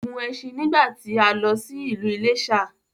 Ó gun ẹṣin nígbàtí a lọ sí ìlú Iléṣà